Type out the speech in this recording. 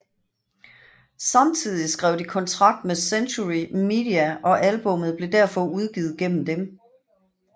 Samtidig skrev de kontrakt med Century Media og albummet blev derfor udgivet gennem den